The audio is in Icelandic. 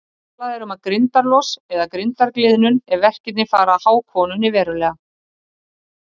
Talað er um grindarlos eða grindargliðnun ef verkirnir fara að há konunni verulega.